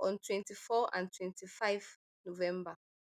on twenty-four and twenty-five november